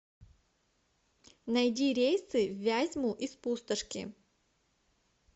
найди рейсы в вязьму из пустошки